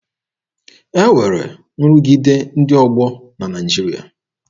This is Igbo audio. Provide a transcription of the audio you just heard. E nwere nrụgide ndị ọgbọ na Naịjirịa.